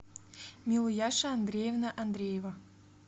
милуяша андреевна андреева